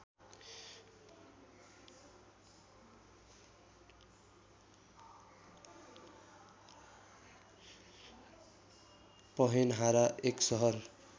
पहेनहारा एक सहर